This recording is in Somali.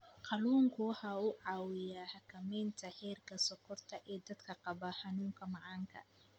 Kalluunku waxa uu caawiyaa xakamaynta heerka sonkorta ee dadka qaba xanuunka macaanka.